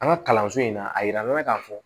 An ka kalanso in na a yira an na k'a fɔ